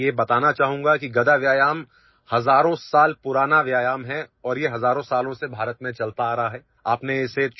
मैं यह बताना चाहूंगा कि गदा व्यायाम हजारों साल पुराना व्यायामहै और ये हजारों सालों से भारत में चलता आ रहा है